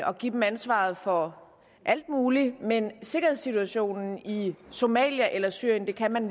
og give den ansvaret for alt muligt men sikkerhedssituationen i i somalia eller syrien kan man